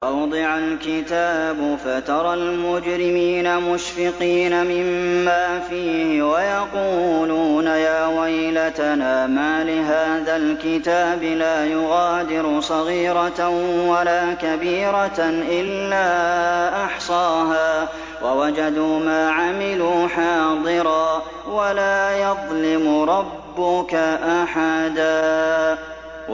وَوُضِعَ الْكِتَابُ فَتَرَى الْمُجْرِمِينَ مُشْفِقِينَ مِمَّا فِيهِ وَيَقُولُونَ يَا وَيْلَتَنَا مَالِ هَٰذَا الْكِتَابِ لَا يُغَادِرُ صَغِيرَةً وَلَا كَبِيرَةً إِلَّا أَحْصَاهَا ۚ وَوَجَدُوا مَا عَمِلُوا حَاضِرًا ۗ وَلَا يَظْلِمُ رَبُّكَ أَحَدًا